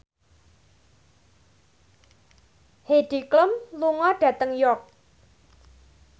Heidi Klum lunga dhateng York